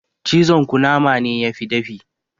Cizon kunama ne yafi dafi